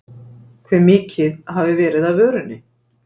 Hve mikið hafi verið af vörunni?